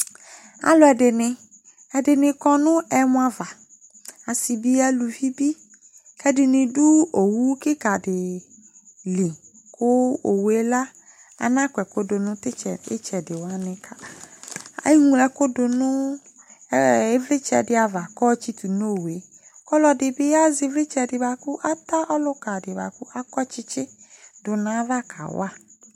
ɑluadini ɛdini dini kɔ nu ɛmɔava ɛdini du owukikɑdili ku owu la ɑna kɔekudu itsedi tsedi ɛŋlɔeku du nivlitse du nivlitse diava ɔtsitu nɔwu ku ɔlodibi ɑze ivlitse ɑta ɔlukɑdi buaku ɑkɔtsitsi dunayava kɑwɑ